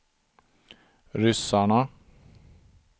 ryssarna